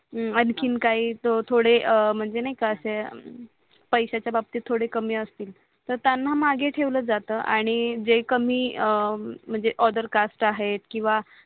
हा आणखीन काही तो थोडे म्हणजे नाही का असे पैसच्या बाबतीत थोडे कामी असतील तर त्यांना मागे ठेवल जात आणि जे कामी म्हणजे अदर कास्ट आहे किवा